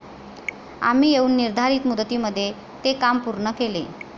आम्ही येऊन निर्धारित मुदतीमध्ये ते काम पूर्ण केले.